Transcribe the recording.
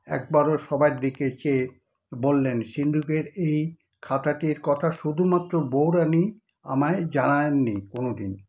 একবার ও সবার দিকে চেয়ে বললেন সিন্দুকের এই খাতাটির কথা শুধুমাত্র বৌরানী আমায় জানান নি কোনদিন।